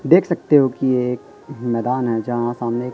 देख सकते हो कि ये एक एक मैदान है जहां सामने एक--